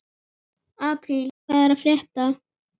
Apríl, hvað er að frétta?